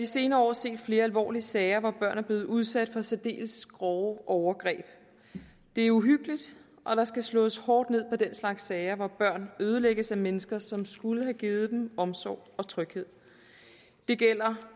senere år set flere alvorlige sager hvor børn er blevet udsat for særdeles grove overgreb det er uhyggeligt og der skal slås hårdt ned på den slags sager hvor børnene ødelægges af mennesker som skulle have givet dem omsorg og tryghed det gælder